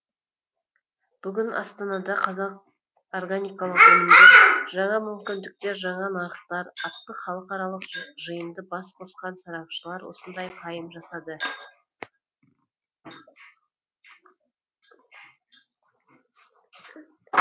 бүгін астанада қазақ органикалық өнімдер жаңа мүмкіндіктер жаңа нарықтар атты халықаралық жиында бас қосқан сарапшылар осындай пайым жасады